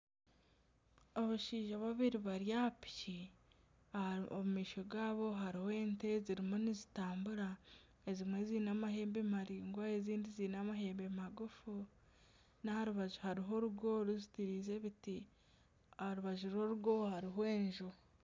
Abashaija babiri bari aha piki, omu maisho gaabo harimu ente ziriyo nizitambura, ezimwe ziine amahembe maraingwa ezindi ziine amahembe magufu, n'aha rubaju hariho orugo ruzitiize ebiti aha rubaju rw'orugo hariho enju